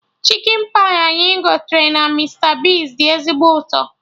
Chikin pai anyị gotere na Mista Bigz dị ezigbo ụtọ